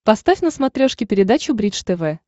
поставь на смотрешке передачу бридж тв